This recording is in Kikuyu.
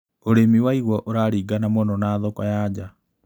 ũrĩmi wa igua ũraringana mũno na thoko ya nja.